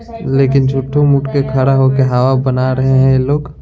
लेकिन झूठो मुठ के खड़ा होकर हवा बना रहे हैं यह लोग।